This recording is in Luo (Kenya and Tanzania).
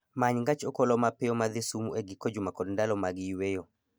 Many gach okolomapiyo madhi Sumu e giko juma kod ndalo mag yweyo